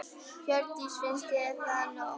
Hjördís: Finnst þér það nóg?